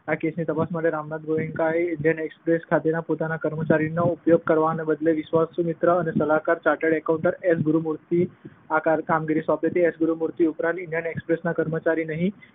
આ કેસની તપાસ માટે રામનાથ ગોએન્કાએ ઈન્ડિયન એક્સપ્રેસ ખાતેના પોતાના કર્મચારીઓનો ઉપયોગ કરવાના બદલે વિશ્વાસુ મિત્ર અને સલાહકાર, ચાર્ટડ એકાઉન્ટન્ટ એસ. ગુરુમૂર્તિને આ કામગીરી સોંપી. એસ. ગુરુમૂર્તિ ઉપરાંત ઈન્ડિયન એક્સપ્રેસ ના કર્મચારી નહિ